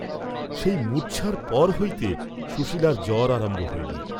সেই মূর্চ্ছার পর হইতে সুশীলার জ্বর আরম্ভ হইল।